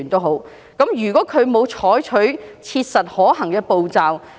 何謂"切實可行的步驟"？